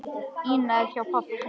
Ína er hjá pabba sínum.